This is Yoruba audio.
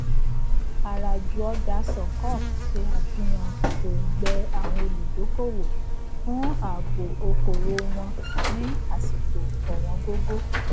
àràjù ọjà sukkuk ṣe àfihàn òngbẹ àwọn olùdókoòwò fún ààbo okòowò wọn ní àsìkò òwọngógó